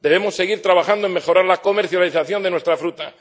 Debemos seguir trabajando en mejorar la comercialización de nuestra fruta.